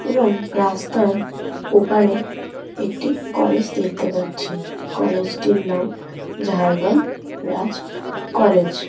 এবং রাস্তার ওপারে একটি কলেজ দেখতে পাচ্ছি কলেজ -টির নাম ঝাড়্গ্রাম রাজ কলেজ ।